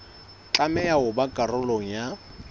tlameha ho ba karolo ya